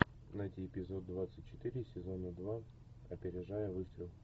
найти эпизод двадцать четыре сезона два опережая выстрел